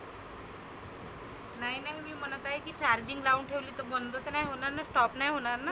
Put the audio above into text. नाही नाही मी म्हणत आहे की charging लावून ठेवली तर बंद तर नाही होणार ना stop नाही होणार ना.